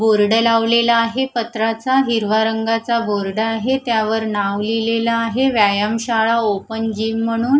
Board लावलेला आहे पत्राचा हिरवा रंगाचा बोर्ड आहे त्यावर नांव लिहिलेलं आहे व्यायाम शाळा ओपन जिम म्हणून.